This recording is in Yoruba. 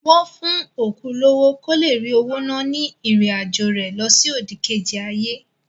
Wọ́n fún òkú lówó kó le rí owó ná ní ìrìn àjọ̀ rẹ lọsí òdìkejì ayé.